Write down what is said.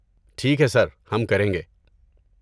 ٹھیک ہے سر، ہم کریں گے۔